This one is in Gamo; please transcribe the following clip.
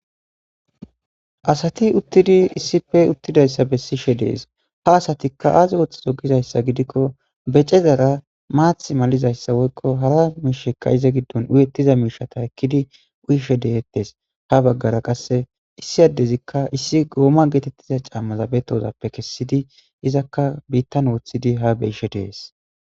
Asati uttidi issife uttidayssa bessishe dees ha asatikka aazi woththi dogizayssa gidikko becezara maath malizayssa woykko hara miishekka iza giddon uyettiza miishata ekkidi uyishe deyettes ha baggara qasse issi addezikka issi gooma geetettiza caammaza betozappe kessidi izakka biittan wooththidi ha beyishe dees